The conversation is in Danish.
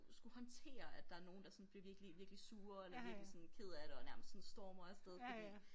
Skulle håndtere at der er nogen der sådan bliver virkelig virkelig sure eller virkelig sådan kede af det og nærmest sådan stormer af sted fordi